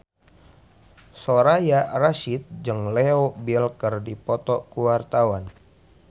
Soraya Rasyid jeung Leo Bill keur dipoto ku wartawan